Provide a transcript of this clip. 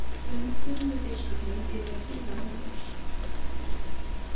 Fundur með biskupnum yrði að bíða morguns.